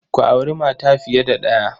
Ku auri mata fiye da ɗaya.